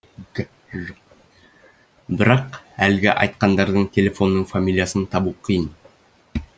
бірақ әлгі айтқандардан телефонның фамилиясын табу қиын